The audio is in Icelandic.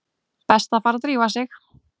Best að fara að drífa sig.